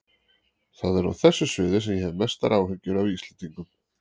Það er á þessu sviði sem ég hef mestar áhyggjur af Íslendingum.